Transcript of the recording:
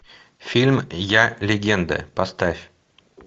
фильм я легенда поставь